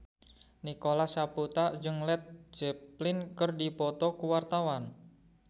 Nicholas Saputra jeung Led Zeppelin keur dipoto ku wartawan